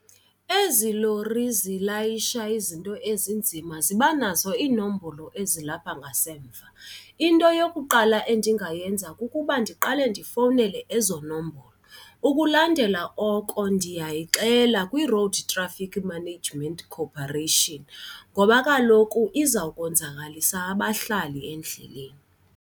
Ezi lori zilayisha izinto ezinzima ziba nazo inombolo ezilapha ngasemva. Into yokuqala endingayenza kukuba ndiqale ndifowunele ezo nombolo. Ukulandela oko ndiyayixela kwiRoad Traffic Management Corporation ngoba kaloku izawukwenzakalisa abahlali endleleni.